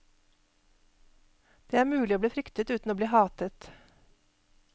Det er mulig å bli fryktet uten å bli hatet.